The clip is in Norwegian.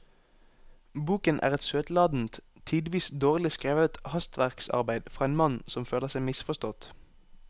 Boken er et søtladent, tidvis dårlig skrevet hastverksarbeid fra en mann som føler seg misforstått.